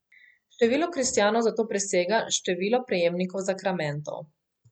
Število kristjanov zato presega število prejemnikov zakramentov.